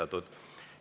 Aitäh teile!